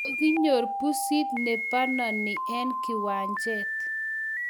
Kokinyor pusit ne banani eng kiwanjet